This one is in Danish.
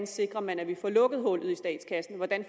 sikrer at man får lukket hullet i statskassen